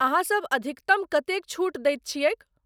अहाँसभ अधिकतम कतेक छूट दैत छियैक ?